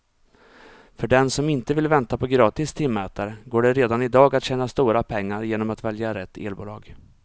För den som inte vill vänta på gratis timmätare går det redan i dag att tjäna stora pengar genom att välja rätt elbolag.